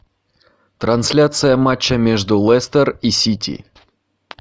трансляция матча между лестер и сити